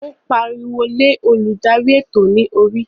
O pariwo lé oludari eto ni orí.